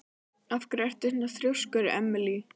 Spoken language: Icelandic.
Af hverju ertu svona þrjóskur, Emely?